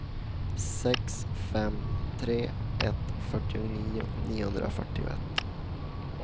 sex fem tre ett fyrtionio niohundrafyrtioett